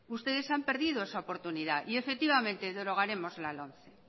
ustedes han perdido esa oportunidad y efectivamente derogaremos la lomce